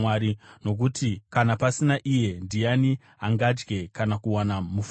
nokuti kana pasina iye, ndiani angadya kana kuwana mufaro?